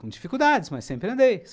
Com dificuldades, mas sempre andei.